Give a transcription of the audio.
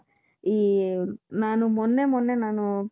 ಈ ನಾನು ಮೊನ್ನೆ ಮೊನ್ನೆ ನಾನು